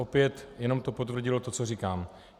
Opět to jenom potvrdilo to, co říkám.